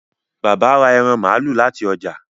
Bàbá rà ẹran malu láti ọjà